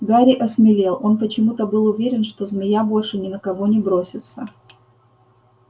гарри осмелел он почему-то был уверен что змея больше ни на кого не бросится